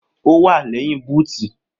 Owà lẹ́yìn bútì.